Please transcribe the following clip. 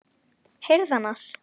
Heyrðu annars.